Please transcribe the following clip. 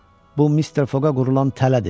Bu Mister Foqa qurulan tələdir.